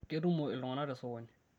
ketumo iltungana te sokoni